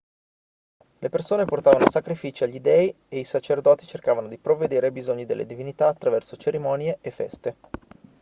le persone portavano sacrifici agli dei e i sacerdoti cercavano di provvedere ai bisogni delle divinità attraverso cerimonie e feste